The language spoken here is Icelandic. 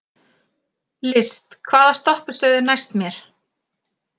List, hvaða stoppistöð er næst mér?